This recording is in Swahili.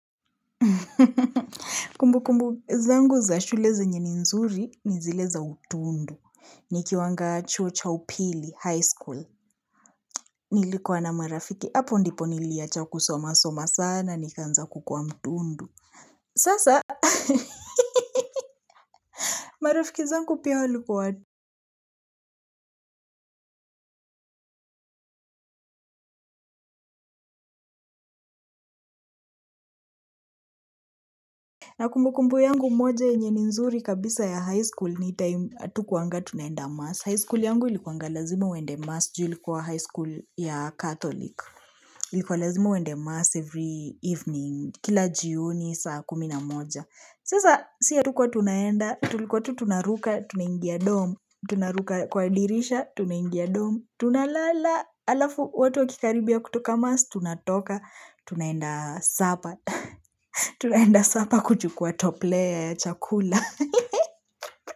Kumbukumbu zangu za shule zenye ni nzuri ni zile za utundu. Nikiwanga chuo cha upili high school nilikuwa na marafiki hapo ndipo niliwacha kusoma soma sana nikaanza kukua mtundu. Sasa marafiki zangu pia walikua. Na kumbukumbu yangu moja yenye ni nzuri kabisa ya high school ni timu hatukuwanga tunaenda mass High school yangu ilikuwanga lazima uende mass juu ilikuwa high school ya catholic likuwa lazima uende mass every evening kila jioni saa kumi na moja sasa sisi hatukwa tunaenda tulikuwa tu tunaruka tunaingia dorm tuna ruka kwa dirisha tuna ingia dom tunalala alafu watu wakikaribia kutoka mass tunatoka tunaenda sapa tunaenda sapa kuchukua toplea ya chakula.